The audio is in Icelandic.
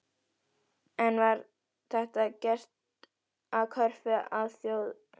En var þetta gert að kröfu Alþjóðagjaldeyrissjóðsins?